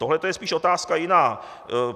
Tohle to je spíš otázka jiná.